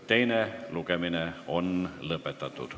Teine lugemine on lõppenud.